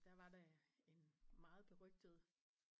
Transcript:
Der var det øh en meget berygtet